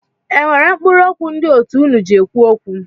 E nwere mkpụrụ okwu ndị òtù unu ji ekwu okwu?